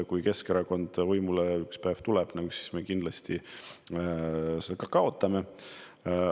Kui Keskerakond ükspäev võimule saab, siis me kindlasti selle maksu kaotame.